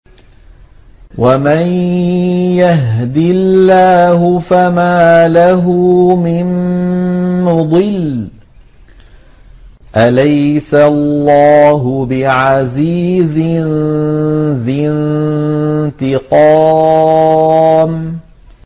وَمَن يَهْدِ اللَّهُ فَمَا لَهُ مِن مُّضِلٍّ ۗ أَلَيْسَ اللَّهُ بِعَزِيزٍ ذِي انتِقَامٍ